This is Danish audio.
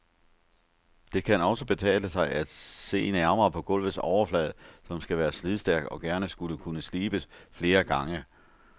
Det kan også betale sig at se nærmere på gulvets overflade, som skal være slidstærk og gerne skulle kunne slibes flere gange.